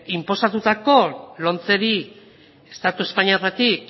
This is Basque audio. estatu espainoletik